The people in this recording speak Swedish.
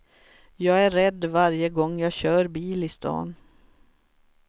Jag är rädd varje gång jag kör bil i stan.